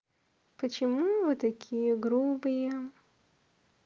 почему вы такие грубые